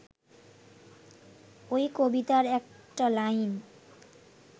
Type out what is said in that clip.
ওই কবিতার একটা লাইনে